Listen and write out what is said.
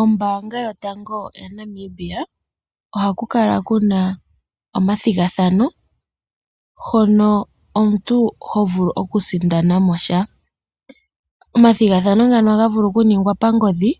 Ombanga yotango yopashigwana ohaku kala kuna omathigathano, hono omuntu ho vulu oku sindanamo sha. Omathigathano ngaka ohaga vulu oku ningwa pangodhi